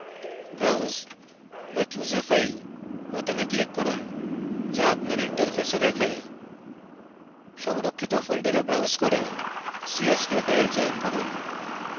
browse/choose a file বোতামে click করুন যা আপনার interface দেখায় সংরক্ষিত folder browse করে csv file চয়ন করুন